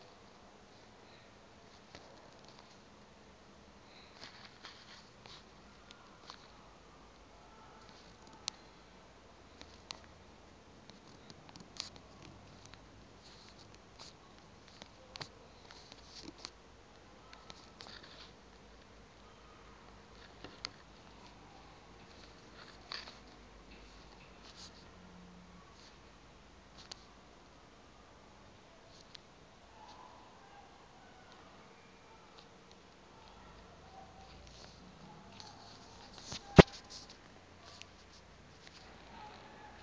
kuyikhankanyaee xa selevela